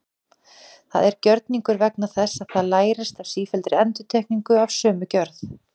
Það er gjörningur vegna þess að það lærist af sífelldri endurtekningu af sömu gjörð.